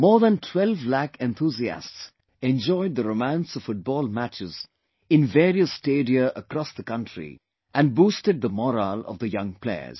More than 12 lakh enthusiasts enjoyed the romance of Football matches in various stadia across the country and boosted the morale of the young players